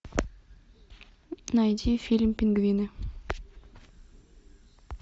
найди фильм пингвины